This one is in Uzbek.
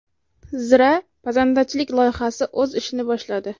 Zira pazandachilik loyihasi o‘z ishini boshladi.